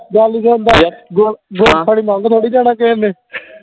ਗੱਲ ਸੁਣਦਾ ਗੁੜ ਗੁੜ ਥੋੜੀ ਨੰਗ ਥੋੜੀ ਜਾਣਾ ਕਿਹੇਨੇ